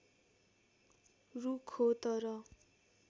रुख हो तर